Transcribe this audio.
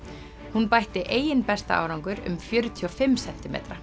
hún bætti eigin besta árangur um fjörutíu og fimm sentimetra